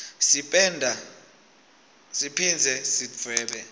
sipenda siphindze sidvwebe